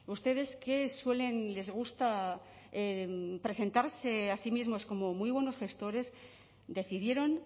ustedes que suelen les gusta presentarse a sí mismos como muy buenos gestores decidieron